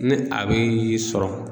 Ni a bɛ e sɔrɔ